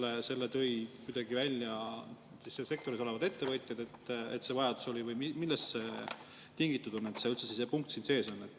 Kas selle tõid välja sektoris olevad ettevõtjad, et see vajadus oli, või millest see tingitud on, et see punkt sees on?